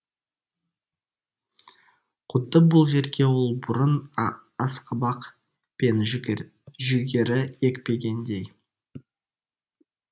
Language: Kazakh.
құдды бұл жерге ол бұрын асқабақ пен жүгері екпегендей